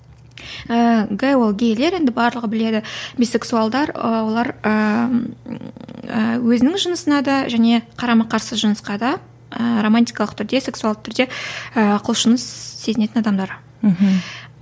ііі г ол гейлер енді барлығы біледі бисексуалдар ы олар ыыы өзінің жынысына да және қарама қарса жынысқа да ы романтикалық түрде сексуалды түрде ы құлшыныс сезінетін адамдар мхм